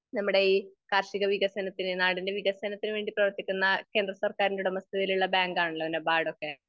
നമ്മുടെ ഈ കാർഷിക വികസനത്തിന് നാടിൻ്റെ വികസനത്തിന് വേണ്ടി പ്രവർത്തിക്കുന്ന കേന്ദ്ര സർക്കാറിൻ്റെ ഉടമസ്ഥതയിലുള്ള ബാങ്ക് ആണല്ലോ നബാഡ് ഒക്കെ.